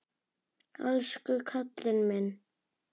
Elsku kallinn minn.